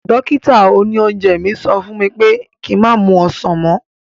Dókítà òní oúnjẹ mi sọ fún mi pé ki má mu ọsàn mọ́